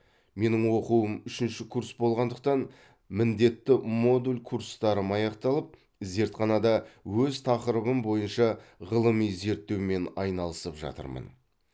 менің оқуым үшінші курс болғандықтан міндетті модуль курстарым аяқталып зертханада өз тақырыбым бойынша ғылыми зерттеумен айналысып жатырмын